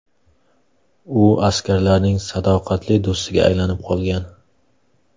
U askarlarning sadoqatli do‘stiga aylanib qolgan.